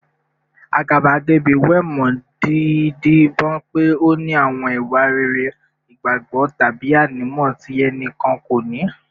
Àgàbàgebè wé mọ́ dídibọ́n pé ó ní àwọn ìwà rere, ìgbàgbọ́, tàbí ànímọ́ tí ẹnì kan kò ní